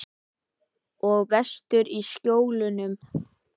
Og vestur í Skjólum er hann enn annar maður.